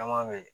Caman be ye